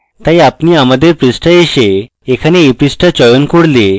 তাই আপনি আমাদের পৃষ্ঠায় so এখানে এই পৃষ্ঠা চয়ন করলে